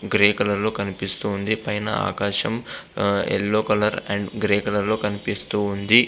Grey colour లో కనిపిస్తోంది పైన ఆకాశం yellow colour and grey colour లో కనిపిస్తోంది.